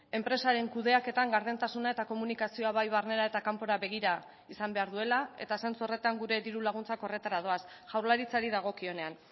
enpresaren kudeaketan gardentasuna eta komunikazioa bai barnera eta kanpora begira izan behar duela eta zentzu horretan gure diru laguntzak horretara doaz jaurlaritzari dagokionean